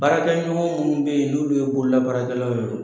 Baarakɛɲɔgɔn minnu bɛ yen n'olu ye bololabaarakɛlaw ye.